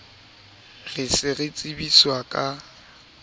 re se re tsebiswa ka